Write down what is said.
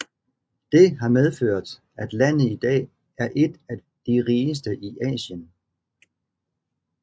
Det har medført at landet i dag er et af de rigeste i Asien